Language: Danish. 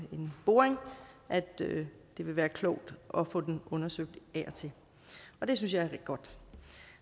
boring at det vil være klogt at få den undersøgt af og til og det synes jeg er godt